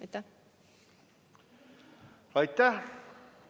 Aitäh!